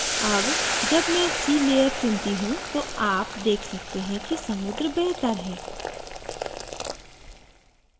अब जब मैं sea layer चुनती हूँ तो आप देख सकते हैं कि समुद्र बेहतर है